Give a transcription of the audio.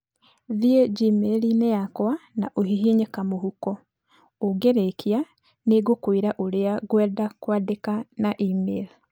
Thiĩ gmail-inĩ yakwa na ũhihinye kamũhuko. Ũngĩrĩkia, nĩ ngũkwĩra ũrĩa ngwenda kwandĩka na e-mail.